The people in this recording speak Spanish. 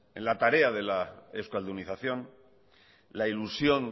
en la tarea de la euskaldunización la ilusión